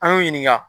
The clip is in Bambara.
An y'u ɲininka